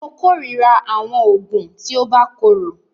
Mó kòrira àwọn oògùn tí o bá korò.